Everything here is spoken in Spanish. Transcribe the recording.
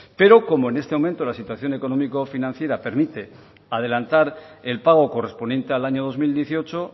pero como en este momento la situación económico financiera permite adelantar el pago correspondiente al año dos mil dieciocho